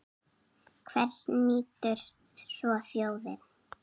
Hvers nýtur svo þjóðin?